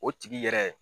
O tigi yɛrɛ